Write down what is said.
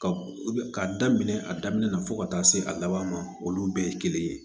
Ka ka daminɛ a daminɛ na fo ka taa se a laban ma olu bɛɛ ye kelen ye